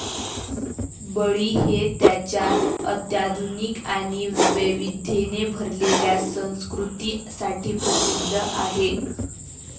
बळी हे त्याच्या अत्याधुनिक आणि वैविध्येने भरलेल्या संस्कृती साठी प्रसिद्ध आहे.